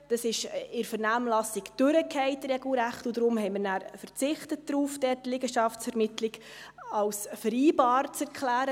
Dies fiel in der Vernehmlassung regelrecht durch, und darum haben wir dann darauf verzichtet, die Liegenschaftsvermittlung als mit dem Notariatsberuf vereinbar zu erklären.